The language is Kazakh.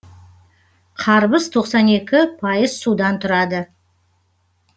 қарбыз тоқсан екі пайыз судан тұрады